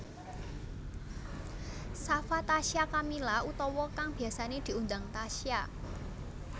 Shafa Tasya Kamila utawa kang biyasané diundang Tasya